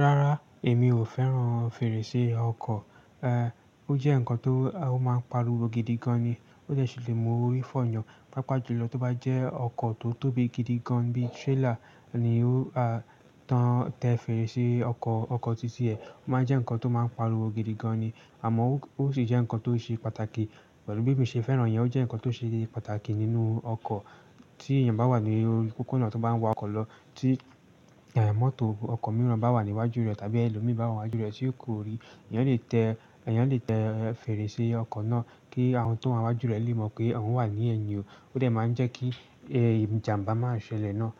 Rárá, èmi ò fẹ́ràn fèrèsé ọkọ̀. Ó jẹ́ ǹkan tó máa ń pariwo gidigan ni. Ó jẹ̀ sí le mú orí fọ́ yàn. Pápá jùlọ tó bá jẹ́ ọkọ̀ tó tóbi gidigan bí i trailer ni ó, a, tán tẹ fèrèsé ọkọ̀, ọkọ̀ títí ẹ. Ó máa jẹ́ ǹkan tó máa ń pariwo gidigan ni. Àmọ́ ó sì jẹ́ ǹkan tó ṣe pàtàkì. Pelu bí emi ṣe fẹ́ràn yẹn, ó jẹ́ ǹkan tó ṣe pàtàkì nínú ọkọ̀. Tí èèyàn bá wà ní orí kókó náà tó bá ń wa ọkọ̀ lọ tí, mọ́tò ọkọ̀ mìíràn bá wà níwájú rẹ̀, tàbí ẹlòmí bá wà níwájú rẹ̀ tí kò ríi, èèyàn lè tẹ, èèyàn lè tẹ fèrèsé ọkọ̀ náà kí àwọn tó wà wájú rẹ̀ lè mọ̀ pé òun wà ní ẹ̀yìn o. Ó de máa ń jẹ́ kí, ìjàmbá máa ṣẹlẹ̀ ná.